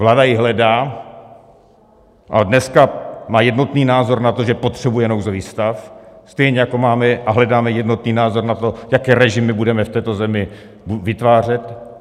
Vláda ji hledá, ale dneska má jednotný názor na to, že potřebuje nouzový stav, stejně jako máme a hledáme jednotný názor na to, jaké režimy budeme v této zemi vytvářet.